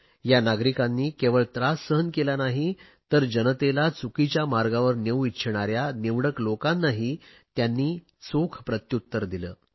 या नागरिकांनी केवळ त्रास सहन केला नाही तर जनतेला चुकीच्या मार्गावर नेऊ इच्छिणाऱ्या निवडक लोकांनाही त्यांनी चोख प्रत्युत्तर दिले